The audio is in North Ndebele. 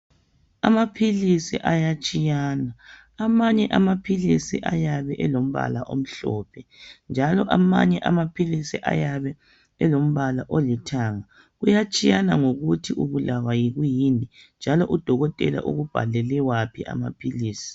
Amaphilisi ayatshiyana. Amanye amaphilisi ayabe elombala omhlophe njalo amanye amaphilisi ayabe elombala olithanga. Kuyatshiyana ngokuthi ubulawa yikuyini njalo udokotela ukubhalele waphi amaphilisi.